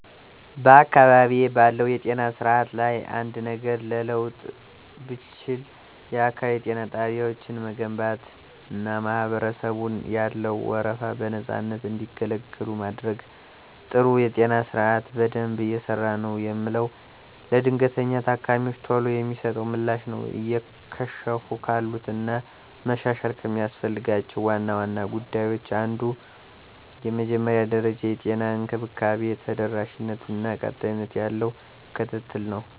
*በአካባቢዬ ባለው የጤና ስርዓት ላይ አንድ ነገር ለመለወጥ ብችል፣ *የአካባቢ ጤና ጣቢያዎችን መገንባትና ማህበረሰቡን ያለ ወረፋ በነፃነት እንዲገለገሉ ማድረግ። *ጥሩ የጤና ስርዓት በደንብ እየሰራ ነው የምለው፦ ለድንገተኛ ታካሚወች ቶሎ የሚሰጠው ምላሽ ነው። *እየከሸፉ ካሉት እና መሻሻል ከሚያስፈልጋቸው ዋና ዋና ጉዳዮች አንዱ የመጀመሪያ ደረጃ የጤና እንክብካቤ ተደራሽነት እና ቀጣይነት ያለው ክትትል ነው።